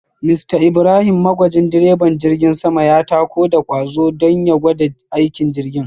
Mr Ibrahim magwajin direban jirgin sama ya tako da kwazo don ya gwada aikin jirgin